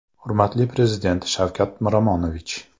Hurmatli Prezident Shavkat Miromonovich.